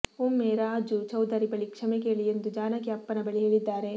ಒಮ್ಮೆ ರಾಜು ಚೌಧರಿ ಬಳಿ ಕ್ಷಮೆ ಕೇಳಿ ಎಂದು ಜಾನಕಿ ಅಪ್ಪನ ಬಳಿ ಹೇಳಿದ್ದಾರೆ